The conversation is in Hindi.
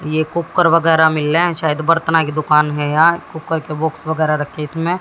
ये कुकर वगैरह मिल रहे हैं शायद बर्तना की दुकान है यार कुकर के बुक्स वगैरह रखे हैं इसमें--